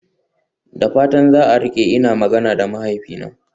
Da fatan za a rike, ina magana da mahaifina.